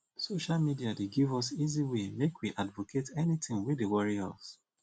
social media dey give us easy way make we advocate anything wey dey worry us